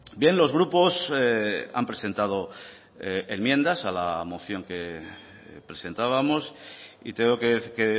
bien los grupos han presentado enmiendas a la moción que presentábamos y tengo que